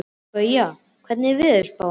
Gauja, hvernig er veðurspáin?